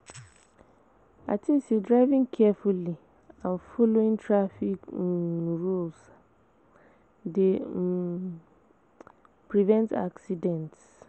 I think say driving carefully and following traffic um rules dey help um prevent accidents.